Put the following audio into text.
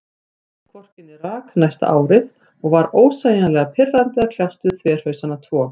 Gekk hvorki né rak næsta árið, og var ósegjanlega pirrandi að kljást við þverhausana tvo.